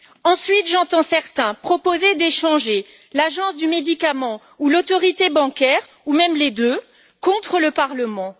Ensuite, j'entends certains proposer d'échanger l'Agence européenne des médicaments ou l'Autorité bancaire européenne, ou même les deux, contre le Parlement.